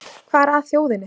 Hvað er að þjóðinni